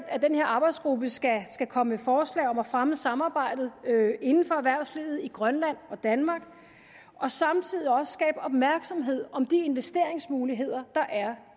at den her arbejdsgruppe skal komme med forslag til at fremme samarbejdet inden for erhvervslivet i grønland og danmark og samtidig skabe opmærksomhed om de investeringsmuligheder der er